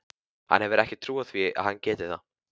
Hann hefur ekki trú á því að hann geti það.